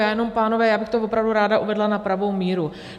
Já jenom, pánové, já bych to opravdu ráda uvedla na pravou míru.